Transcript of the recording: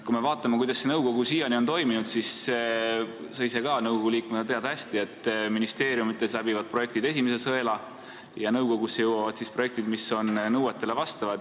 Kui me vaatame, kuidas see nõukogu on siiani töötanud, siis sa ise ka nõukogu liikmena tead hästi, et ministeeriumides läbivad projektid esimese sõela ja nõukogusse jõuavad projektid, mis nõuetele vastavad.